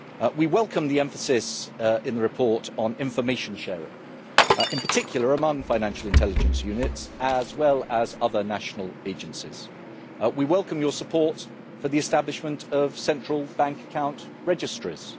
We welcome the emphasis in the report on information sharing, in particular among financial intelligence units, as well as other national agencies. We welcome your support for the establishment of central bank account registries.